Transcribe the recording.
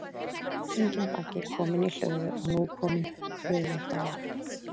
Enginn baggi kominn í hlöðu og nú kominn höfuðdagur.